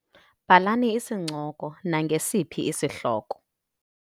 Bhalani isincoko nangesiphi isihloko.